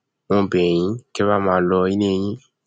mo bẹ yín kẹ ẹ wàá máa lo ilé yín